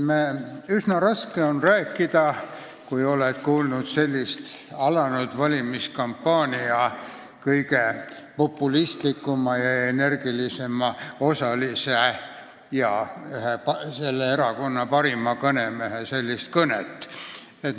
Üsna raske on rääkida, kui oled just kuulnud alanud valimiskampaania kõige populistlikuma ja energilisema osalise, Eesti Konservatiivse Rahvaerakonna ühe parima kõnemehe kõnet.